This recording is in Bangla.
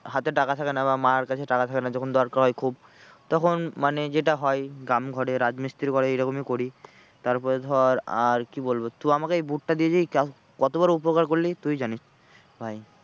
হাতে টাকা থাকে না বা মায়ের কাছে টাকা থাকে না যখন দরকার হয় খুব তখন মানে যেটা হয় গ্রাম ঘরে রাজমিস্ত্রি ঘরে এরকমই করি। তারপরে ধর আর কি বলবো তুই আমাকে এই boot দিয়ে যে ক কত বড়ো উপকার করলি তুই জানিস্ ভাই।